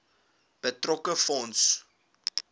betrokke fonds